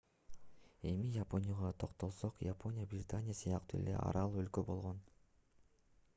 эми японияга токтолсок япония британия сыяктуу эле арал өлкө болгон